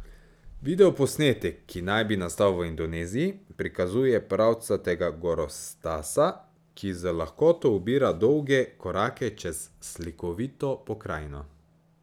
Videoposnetek, ki naj bi nastal v Indoneziji, prikazuje pravcatega gorostasa, ki z lahkoto ubira dolge korake čez slikovito pokrajino.